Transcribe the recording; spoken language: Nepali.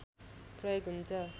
प्रयोग हुन्छ